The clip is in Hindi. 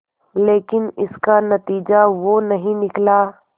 लेकिन इसका नतीजा वो नहीं निकला